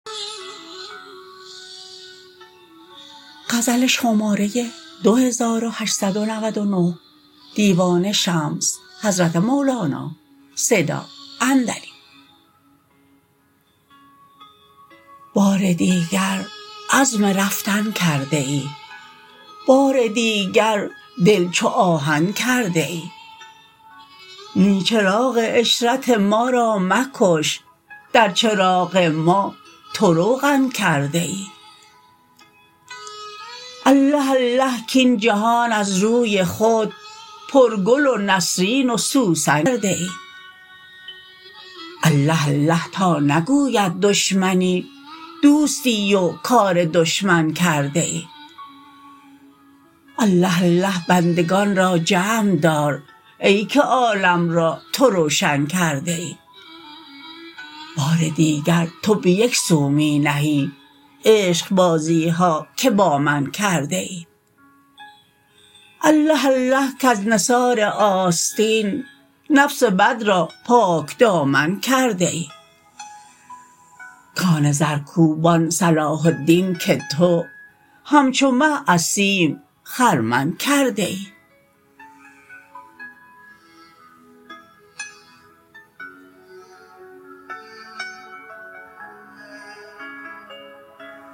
بار دیگر عزم رفتن کرده ای بار دیگر دل چو آهن کرده ای نی چراغ عشرت ما را مکش در چراغ ما تو روغن کرده ای الله الله کاین جهان از روی خود پرگل و نسرین و سوسن کرده ای الله الله تا نگوید دشمنی دوستی و کار دشمن کرده ای الله الله بندگان را جمع دار ای که عالم را تو روشن کرده ای بار دیگر تو به یک سو می نهی عشقبازی ها که با من کرده ای الله الله کز نثار آستین نفس بد را پاکدامن کرده ای کان زرکوبان صلاح الدین که تو همچو مه از سیم خرمن کرده ای